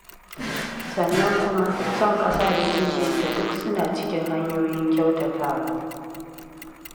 Sannan kuma, son ƙasa da kishinta duk suna cikin hanyoyin kyautatawa.